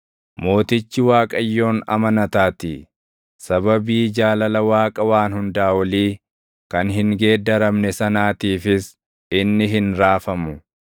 Mootichi Waaqayyoon amanataatii; sababii jaalala Waaqa Waan Hundaa Olii kan hin geeddaramne sanaatiifis inni hin raafamu.